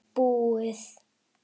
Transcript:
Búið!